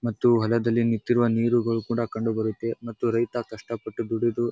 ಮತ್ತು ಹೊಲದಲ್ಲಿ ನಿತ್ತಿರುವ ನೀರುಗಳು ಕೂಡ ಕಂಡು ಬರುತ್ತೆ ಮತ್ತು ರೈತ ಕಷ್ಟ ಪಟ್ಟು ದುಡಿದು --